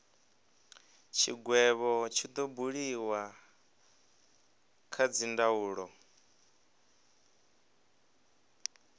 tshigwevho tshi do buliwa kha dzindaulo